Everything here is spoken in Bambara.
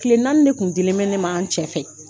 Tile naani de tun dilen bɛ ne ma n cɛ fɛ